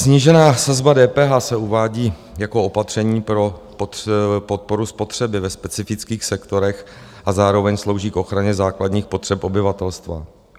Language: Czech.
Snížená sazba DPH se uvádí jako opatření pro podporu spotřeby ve specifických sektorech a zároveň slouží k ochraně základních potřeb obyvatelstva.